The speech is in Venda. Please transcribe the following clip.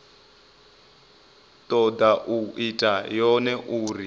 toda u ita yone uri